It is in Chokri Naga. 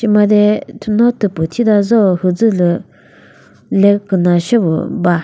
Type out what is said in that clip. made thüno thüpu thita züo müzülü le küna seo ba.